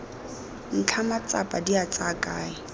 ntlha matsapa dia tsaya kae